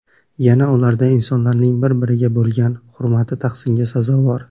Yana ularda insonlarning bir-biriga bo‘lgan hurmati tahsinga sazovor.